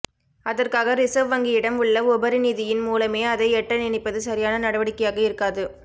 அதற்காக ரிசர்வ் வங்கியிடம் உள்ளஉபரி நிதியின் மூலமே அதை எட்ட நினைப்பது சரியான நடவடிக்கையாக இருக்காது